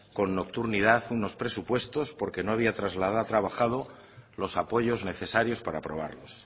con nocturnidad unos presupuestos porque no había trabajado los apoyos necesarios para aprobarlos